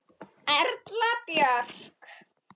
Erla Björk.